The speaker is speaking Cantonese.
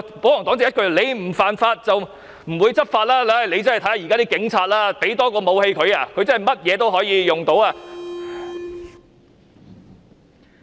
保皇黨一句"你不犯法，就不會執法"，但現時的警察，多給他們一件武器，他們甚麼都可以用得着。